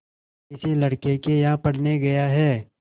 किसी लड़के के यहाँ पढ़ने गया है